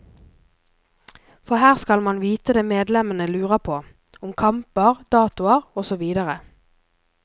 For her skal man vite det medlemmene lurer på, om kamper, datoer og så videre.